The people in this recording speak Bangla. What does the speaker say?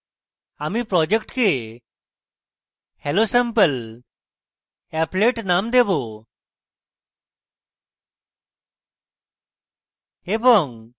আমি project hellosampleapplet name দেবো এবং